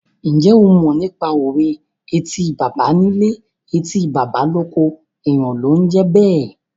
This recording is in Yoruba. Ǹjẹ́ o mọ nípa òwe "Etí baba nílé, etí baba lóko, èèyàn ló ń jẹ́ bẹ́ẹ̀?"